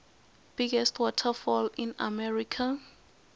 biggest waterfall in america